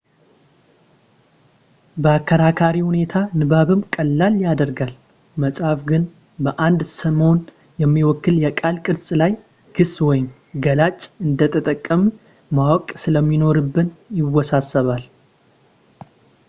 በአከራካሪ ሁኔታ ንባብንም ቀላል ያደርጋል መጻፍ ግን በአንድ ስምን የሚወክል የቃል ቅርጽ ላይ ግስ ወይም ገላጭ እንደተጠቀንምን ማወቅ ስለሚኖርብን ይወሳሰባል